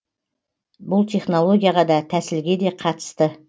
бұл технологияға да тәсілге де қатысты